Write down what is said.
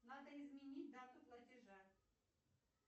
надо изменить дату платежа